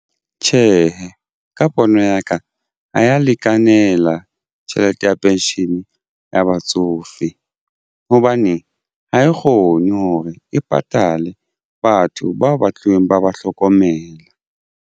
Tjhehe, ka pono ya ka ha ya lekanela tjhelete ya pension ya batsofe hobane ha e kgone hore e patale batho bao ba tluweng ba ba hlokomela.